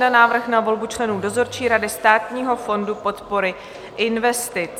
Návrh na volbu členů dozorčí rady Státního fondu podpory investic